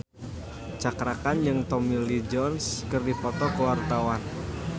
Cakra Khan jeung Tommy Lee Jones keur dipoto ku wartawan